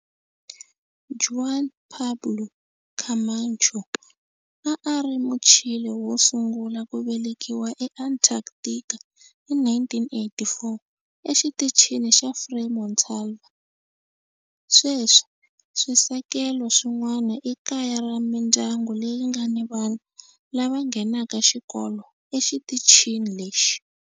Juan Pablo Camacho a a ri Muchile wo sungula ku velekiwa eAntarctica hi 1984 eXitichini xa Frei Montalva. Sweswi swisekelo swin'wana i kaya ra mindyangu leyi nga ni vana lava nghenaka xikolo exitichini lexi.